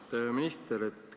Austatud minister!